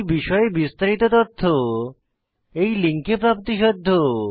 এই বিষয়ে বিস্তারিত তথ্য এই লিঙ্কে প্রাপ্তিসাধ্য